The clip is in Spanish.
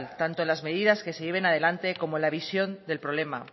tanto en las medidas que se lleven adelante como en la visión del problema